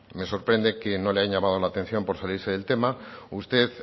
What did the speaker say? me sorprende que no le hayan llamado la atención por salirse del tema usted